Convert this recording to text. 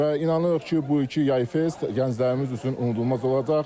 Və inanırıq ki, bu iki Yay Fest gənclərimiz üçün unudulmaz olacaq.